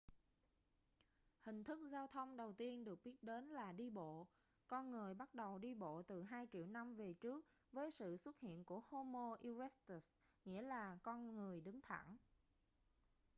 hình thức giao thông đầu tiên được biết đến là đi bộ con người bắt đầu đi bộ từ hai triệu năm về trước với sự xuất hiện của homo erectus nghĩa là con người đứng thẳng